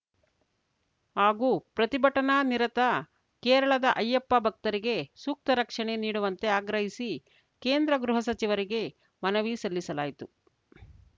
ಹಾಗೂ ಪ್ರತಿಭಟನಾ ನಿರತ ಕೇರಳದ ಅಯ್ಯಪ್ಪ ಭಕ್ತರಿಗೆ ಸೂಕ್ತ ರಕ್ಷಣೆ ನೀಡುವಂತೆ ಆಗ್ರಹಿಸಿ ಕೇಂದ್ರ ಗೃಹಸಚಿವರಿಗೆ ಮನವಿ ಸಲ್ಲಿಸಲಾಯಿತು